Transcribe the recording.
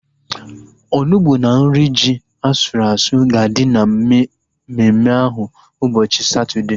Onugbu na nri ji asụrụ asụ ga-adị na mmemme ahu ụbọchị Satọdee